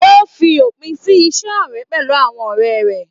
O fí òpin sí ise ọrẹ pẹlú àwọn ọrẹ rẹ.